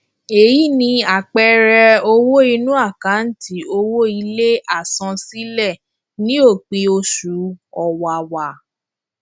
eyi ni àpẹẹrẹ owó inú àkántì owó ilé àsansílẹ ní òpin oṣù ọwàwà